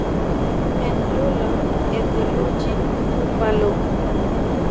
enjula e theluji bufallo